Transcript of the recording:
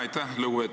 Aitäh!